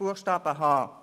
Buchstabe h.